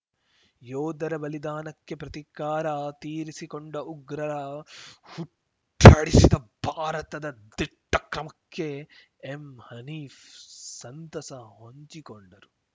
ಯೋಧರ ಬಲಿದಾನಕ್ಕೆ ಪ್ರತಿಕಾರ ತೀರಿಸಿಕೊಂಡು ಉಗ್ರರ ಹುಟ್ಟಡಗಿಸಿದ ಭಾರತದ ದಿಟ್ಟಕ್ರಮಕ್ಕೆ ಎಂ ಹನೀಫ್‌ ಸಂತಸ ಹೊಂಚಿಕೊಂಡರು